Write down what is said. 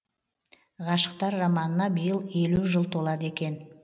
ғашықтар романына биыл елу жыл толады екен